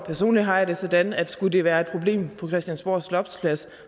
personligt har jeg det sådan at skulle det være et problem på christiansborg slotsplads